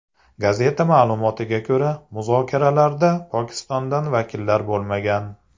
Gazeta ma’lumotiga ko‘ra, muzokaralarda Pokistondan vakillar bo‘lmagan.